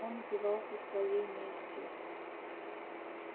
он упивался своей местью